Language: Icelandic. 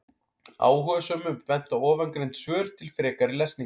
Áhugasömum er bent á ofangreind svör til frekari lesningar.